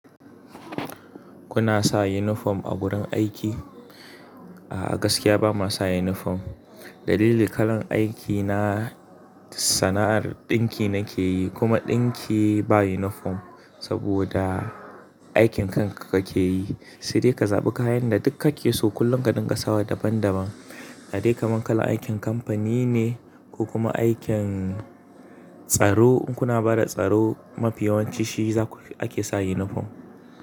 Kuna sa unifom a gurin aiki? A'a gaskiya bama sa unifom. Dalili kalan aiki na sana'ar ɗinki nake yi kuma ɗinki ba unifom. Saboda aikin kanka kake yi, sai de ka zaɓi kayan da duk kake so kullum ka dinga sawa daban daban. Da de kaman kala aikin kamfani ne ko kuma aikin tsaro, un kuna bada tsaro mafi yawanci shi zaku ake sa yunifom.